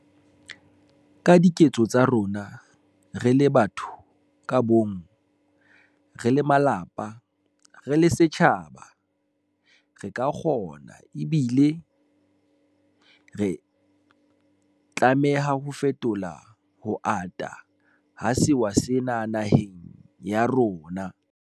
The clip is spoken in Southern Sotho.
Ka diketso tsa rona, re le batho ka bomong, re le malapa, re le setjhaba, re ka kgona ebile re tlameha ho fetola ho ata ha sewa sena naheng ya rona.